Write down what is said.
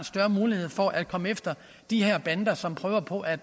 større mulighed for at komme efter de her bander som prøver på at